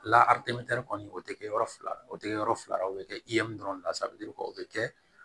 kɔni o tɛ kɛ yɔrɔ fila ye o tɛ kɛ yɔrɔ fila la o bɛ kɛ dɔrɔn o bɛ kɛ